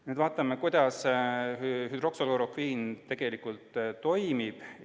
Nüüd vaatame, kuidas hüdroksüklorokviin tegelikult toimib.